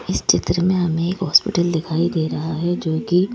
इस चित्र में हमें एक हॉस्पिटल दिखाई दे रहा है जोकि--